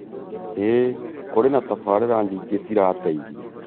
ĩi kũrĩ na tabarĩra nyingĩ cirateithia.